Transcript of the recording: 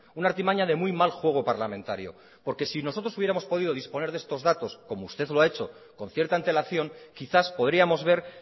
una artimaña de muy mal juego parlamentario porque si nosotros hubiéramos podido disponer de estas datos como usted lo ha hecho con cierta antelación quizás podríamos ver